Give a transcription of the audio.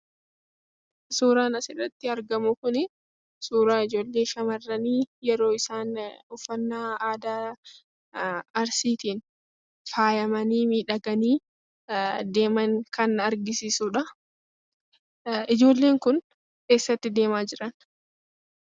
Suuraan asirratti argamu kuni suuraa ijoollee shamarranii yeroo isaan uffannaa aadaa arsiitiin faayamanii miidhaganii deeman kan agarsiisudhaa, ijoolleen kun eessatti deemaa jiran?